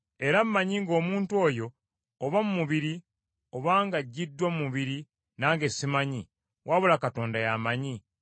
Era mmanyi ng’omuntu oyo, oba mu mubiri oba ng’aggiddwa mu mubiri nange simanyi, wabula Katonda ye amanyi,